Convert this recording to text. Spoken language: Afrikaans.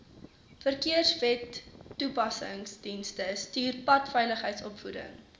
verkeerswetstoepassingsdienste stuur padveiligheidsopvoeding